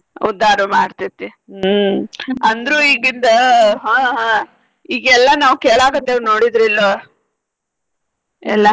ಉದ್ದಾರು ಮಾಡ್ತೇತಿ ಹ್ಮ್ ಅಂದ್ರು ಈಗಿಂದ ಹಾ ಹಾ ಈಗೆಲ್ಲಾ ನಾವ್ ಕೇಳಾಕತ್ತೇವ್ ನೋಡಿದ್ರಿ ಇಲ್ಲೊ ಎಲ್ಲಾ.